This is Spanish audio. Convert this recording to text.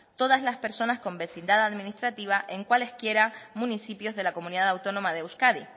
todas las personas con vecindad administrativa en cualesquiera municipios de la comunidad autónoma de euskadi